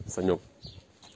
санёк